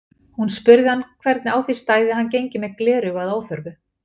Hún spurði hann hvernig á því stæði að hann gengi með gleraugu að óþörfu.